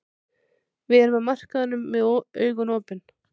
Við erum á markaðinum með augun opin.